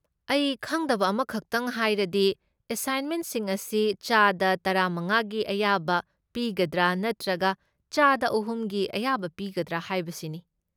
ꯑꯩ ꯈꯪꯗꯕ ꯑꯃꯈꯛꯇꯪ ꯍꯥꯏꯔꯗꯤ ꯑꯦꯁꯥꯏꯟꯃꯦꯟꯁꯤꯡ ꯑꯁꯤ ꯆꯥꯗ ꯇꯔꯥꯃꯉꯥꯒꯤ ꯑꯌꯥꯕ ꯄꯤꯒꯗ꯭ꯔꯥ ꯅꯠꯇ꯭ꯔꯒ ꯆꯥꯗ ꯑꯍꯨꯝꯒꯤ ꯑꯌꯥꯕ ꯄꯤꯒꯗ꯭ꯔꯥ ꯍꯥꯏꯕꯁꯤꯅꯤ꯫